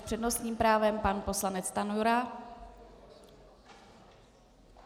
S přednostním právem pan poslanec Stanjura.